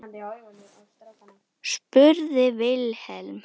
spurði Vilhelm hana.